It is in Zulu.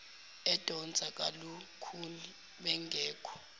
edonsa kalukhuni bengekho